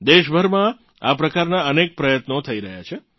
દેશભરમાં આ પ્રકારનાં અનેક પ્રયત્નો થઇ રહ્યાં છે